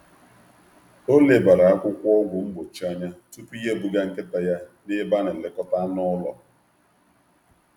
Ọ lebara akwụkwọ ọgwụ mgbochi anya tupu ya ebuga nkịta ya n’ebe a na-elekọta anụ ụlọ.